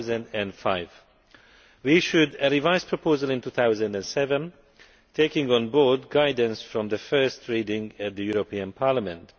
2005. We should have revised the proposal in 2007, taking on board guidance from the first reading of the European Parliament.